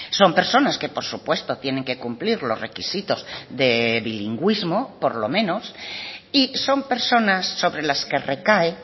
son personas que por supuesto tienen que cumplir los requisitos de bilingüismo por lo menos y son personas sobre las que recae